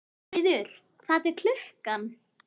Gautviður, hvað er klukkan?